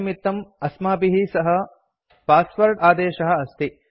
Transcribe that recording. तन्निमित्तं अस्माभिः सह पास्वाद आदेशः अस्ति